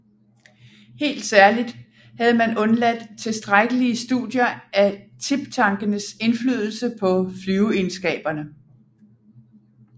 Helt særligt havde man undladt tilstrækkelige studier af tiptankenes inflydelse på flyveegenskaberne